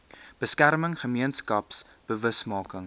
beskerming gemeenskaps bewusmaking